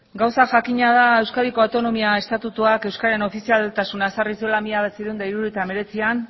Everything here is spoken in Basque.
gauza jakina da euskadiko autonomia estatutuak euskararen ofizialtasuna ezarri zuela mila bederatziehun eta hirurogeita hemeretzian